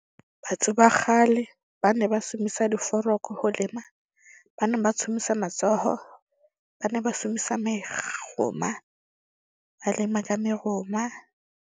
Batho ba kgale ba ne ba diforoko ho lema. Ba ne ba matsoho. Ba ne ba . Ba lema ka mehoma.